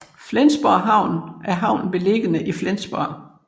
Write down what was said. Flensborg Havn er havnen beliggende i Flensborg